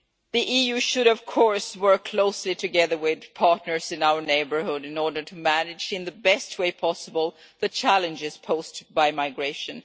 The EU should, of course, work closely together with partners in our neighbourhood in order to manage in the best way possible the challenges posed by migration.